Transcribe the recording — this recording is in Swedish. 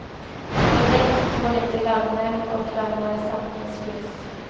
Som vi vet tål inte lögner och lögnare sanningens ljus.